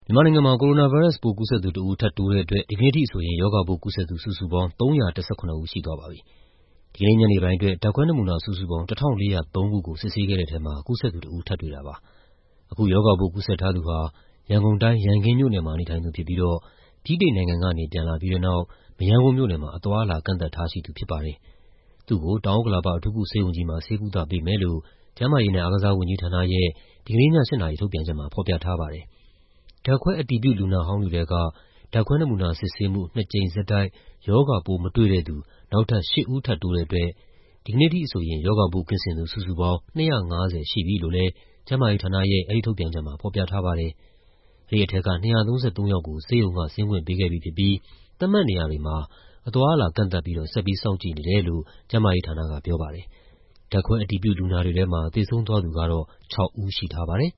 မြန်မာနိုင်ငံမှာ ကိုရိုနာဗိုင်းရပ်စ် ကူးစက်သူတဦး ထပ်တိုးတဲ့အတွက် ဒီကနေ့အထိဆိုရင် ရောဂါပိုးကူးစက်သူ စုစုပေါင်း ၃၁၇ ဦးရှိသွားပါပြီ။ ဒီကနေ့ ညနေပိုင်းအတွက် ဓာတ်ခွဲနမူနာစုစုပေါင်း ၁,၄၀၃ ခုကို စစ်ဆေးခဲ့တဲ့ထဲမှာ ကူးစက်သူတဦး ထပ်တွေ့တာပါ။ အခု ရောဂါပိုးကူးစက်ထားသူဟာ ရန်ကုန်တိုင်း၊ ရန်ကင်းမြို့နယ်မှာ နေထိုင်သူဖြစ်ပြီးတော့ ဗြိတိန်နိုင်ငံကနေ ပြန်လာပြီးတဲ့နောက် မရမ်းကုန်းမြို့နယ်မှာ အသွားအလာ ကန့်သတ်ထားရှိသူဖြစ်ပါတယ်။ သူ့ကို တောင်ဥက္ကလာပ အထူးကုဆေးရုံကြီးမှာ ဆေးကုသပေးမယ်လို့ ကျန်းမာရေးနဲ့ အားကစားဝန်ကြီးဌာနရဲ့ ဒီကနေ့ည ၈ နာရီထုတ်ပြန်ချက်မှာ ဖော်ပြထားပါတယ်။ ဓာတ်ခွဲ အတည်ပြုလူနာဟောင်းတွေထဲက ဓာတ်ခွဲနမူနာစစ်ဆေးမှုမှာ ၂ ကြိမ်ဆက်တိုက် ရောဂါပိုးမတွေ့တဲ့သူ နောက်ထပ် ၈ ဦးထပ်တိုးတဲ့အတွက် ဒီကနေ့အထိဆိုရင် ရောဂါပိုးကင်းစင်သူ စုစုပေါင်း ၂၅၀ ရှိပြီလို့လည်း ကျန်းမာရေးဌာနရဲ့ အဲဒီထုတ်ပြန်ချက်မှာ ဖော်ပြထားပါတယ်။ အဲဒီထဲက ၂၃၃ ယောက်ကို ဆေးရုံက ဆင်းခွင့်ပေးခဲ့ပြီဖြစ်ပြီး သတ်မှတ်နေရာတွေမှာ အသွားအလာ ကန့်သတ်ပြီးတော့ ဆက်ပြီး စောင့်ကြည့်နေတယ်လို့ ကျန်းမာရေးဌာနကပြောပါတယ်။ ဓာတ်ခွဲအတည်ပြု လူနာတွေထဲမှာ သေဆုံးသွားသူကတော့ ၆ ဦးရှိထားပါတယ်။